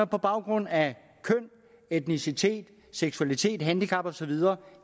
på baggrund af køn etnicitet seksualitet handicap og så videre